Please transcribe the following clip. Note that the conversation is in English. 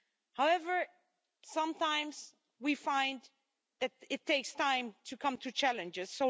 However, sometimes we find that it takes time to come to challenges.